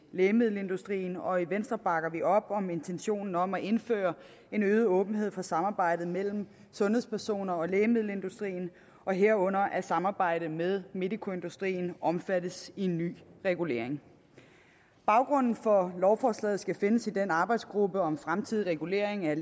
lægemiddelindustrien og i venstre bakker vi op om intentionen om at indføre en øget åbenhed for samarbejdet mellem sundhedspersoner og lægemiddelindustrien og herunder at samarbejdet med medicoindustrien omfattes i en ny regulering baggrunden for lovforslaget skal findes i den arbejdsgruppe om fremtidig regulering af